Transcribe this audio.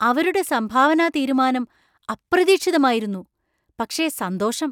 അവരുടെ സംഭാവനാതീരുമാനം അപ്രതീക്ഷിതമായിരുന്നു, പക്ഷേ സന്തോഷം.